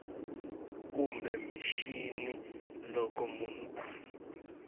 kumbe mixini loko munhu a